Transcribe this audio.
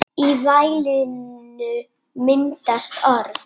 Í vælinu myndast orð.